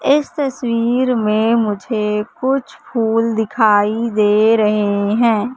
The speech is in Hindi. इस तस्वीर में मुझे कुछ फूल दिखाई दे रहे हैं।